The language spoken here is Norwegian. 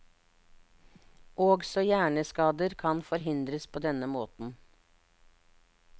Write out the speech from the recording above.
Også hjerneskader kan forhindres på denne måten.